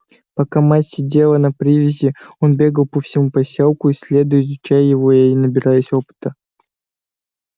пока мать сидела на привязи он бегал по всему посёлку исследуя изучая его и набираясь опыта